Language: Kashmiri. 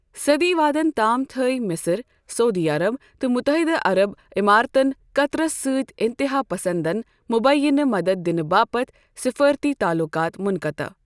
صدی وادن تام تھٲوۍ، مِصر، سعودی عرب تہٕ متحدہ عرب عماراتن قطرس سۭتۍ انتہا پسندن مبیعنہٕ مدتھ دِنہٕ باپتھ سفارتی تعلقات منقتع ۔